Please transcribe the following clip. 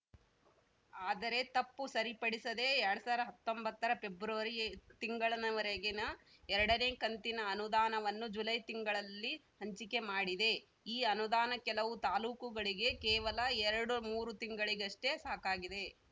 ಆದರೆ ತಪ್ಪು ಸರಿಪಡಿಸದೆ ಎರಡ್ ಸಾವಿರದ ಹತ್ತೊಂಬತ್ತರ ಪೆಬ್ರವರಿ ತಿಂಗಳನವರೆಗಿನ ಎರಡನೇ ಕಂತಿನ ಅನುದಾನವನ್ನು ಜುಲೈ ತಿಂಗಳಲ್ಲಿ ಹಂಚಿಕೆ ಮಾಡಿದೆ ಈ ಅನುದಾನ ಕೆಲವು ತಾಲೂಕುಗಳಿಗೆ ಕೇವಲ ಎರಡು ಮೂರು ತಿಂಗಳಿಗಷ್ಟೇ ಸಾಕಾಗಿದೆ